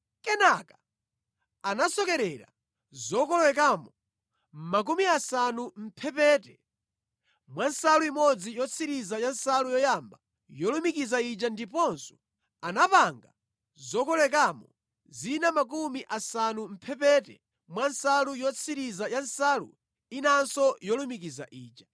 Kenaka anasokerera zokolowekamo makumi asanu mʼmphepete mwa nsalu imodzi yotsirizira ya nsalu yoyamba yolumikiza ija ndiponso anapanga zokolowekamo zina makumi asanu mʼmphepete mwa nsalu yotsirizira ya nsalu inanso yolumikiza ija.